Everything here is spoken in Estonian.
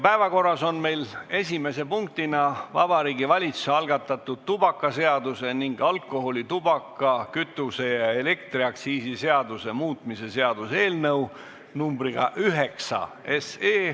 Päevakorras on esimese punktina Vabariigi Valitsuse algatatud tubakaseaduse ning alkoholi-, tubaka-, kütuse- ja elektriaktsiisi seaduse muutmise seaduse eelnõu numbriga 9.